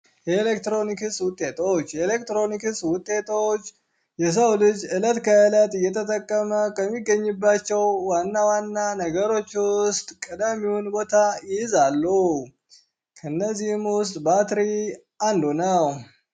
የኤሌክትሮኒክ ውጤቶች የኤሌክትሮኒክ ውጤቶች የሰው ልጅ ዕለት ከእለት እየተጠቀመ ከሚገኝባቸው ዋና ዋና ነገሮች ውስጥ ተቀዳሚውን ቦታ ይይዛሉ። ከነዚህም ውስጥ ባትሪ አንዱ ነው።